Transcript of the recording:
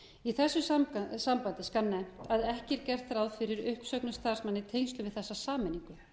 í þessu sambandi skal nefnt að ekki er gert ráð fyrir uppsögnum starfsmanna í tengslum við þessa sameiningu